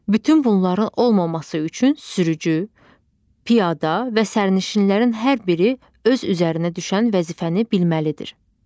Bütün bunların olmaması üçün sürücü, piyada və sərnişinlərin hər biri öz üzərinə düşən vəzifəni bilməlidir.